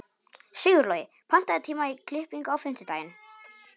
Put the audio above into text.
Sigurlogi, pantaðu tíma í klippingu á fimmtudaginn.